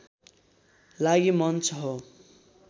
लागि मञ्च हो